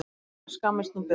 Svona, skammist nú burt!